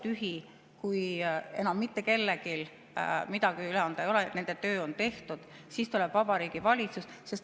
Kui see tabloo on tühi, kui enam mitte kellelgi midagi üle anda ei ole, nende töö on tehtud, siis tuleb Vabariigi Valitsus.